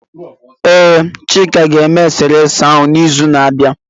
Ee, Chika ga-eme eserese ahu n'izu na-abịa.